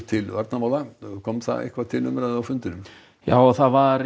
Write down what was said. til varnarmála kom það eitthvað til umræðu á fundinum það var